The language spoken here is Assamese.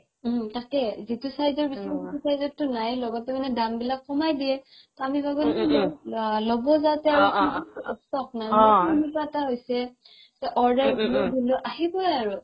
উম তাকেই যিটো size ৰ বিচাৰা সেইটো size ৰ টো নাই লগতে মানে দাম বিলাক কমাই দিয়ে ল'ব যাওতে মোৰ সেনেকুৱা এটা হৈছে order দিলো দিলো আহিবৈ আৰু